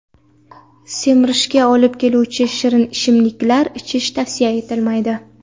Semirishga olib keluvchi shirin ichimliklar ichish tavsiya etilmaydi.